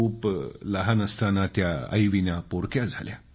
खूप लहान असतानाच त्या आईविना पोरक्या झाल्या